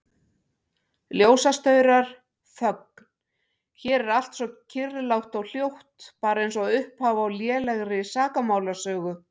Ljósastaurar, þögn, hér er allt svo kyrrlátt og hljótt, bara einsog upphaf á lélegri sakamálasögu.